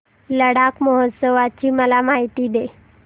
लडाख महोत्सवाची मला माहिती दे